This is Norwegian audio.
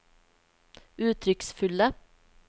uttrykksfulle